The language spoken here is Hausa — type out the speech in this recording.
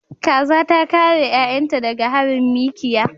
Kaza ta kare 'ya'yanta daga harin mikiya.